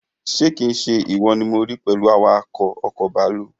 Ṣé kii se ìwọ ni mo rí pẹ̀lú awakọ̀ ọkọ̀ bàálù?